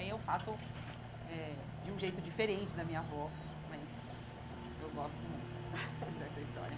E aí eu faço eh de um jeito diferente da minha avó, mas eu gosto muito dessa história.